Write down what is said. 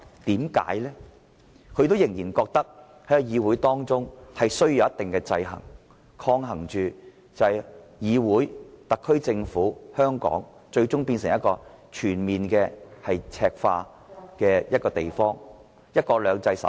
因為他們仍然覺得議會內需要有一定的制衡，以抗衡議會、特區政府和香港最終全面赤化，免致香港無法守住"一國兩制"。